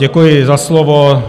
Děkuji za slovo.